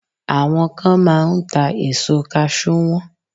Àwọn kan máa ń ta èso kaṣú wọn